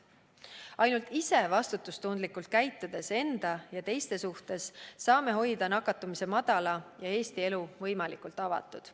Ainult enda ja teiste suhtes vastutustundlikult käitudes saame hoida nakatumise madala ja Eesti elu võimalikult avatud.